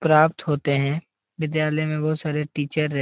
प्राप्त होते हैं विद्यालय में बहुत सारे टीचर रह --